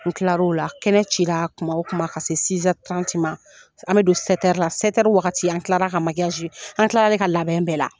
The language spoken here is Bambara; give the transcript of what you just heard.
N tilara o la kɛnɛ cira kuma o kuma ka se ma an bɛ don la wagati an tilara ka an tilara ka labɛn bɛɛ